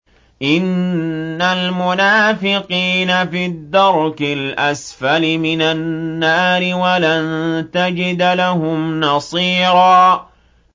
إِنَّ الْمُنَافِقِينَ فِي الدَّرْكِ الْأَسْفَلِ مِنَ النَّارِ وَلَن تَجِدَ لَهُمْ نَصِيرًا